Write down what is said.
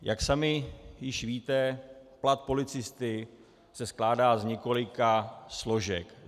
Jak sami již víte, plat policisty se skládá z několika složek.